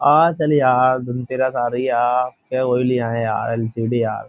आ चल यार। धनतेरस आ रही है आ। चल वो ही लिया है यार। एल.सी.डी. यार।